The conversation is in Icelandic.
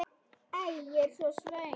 Æ, ég er svo svöng.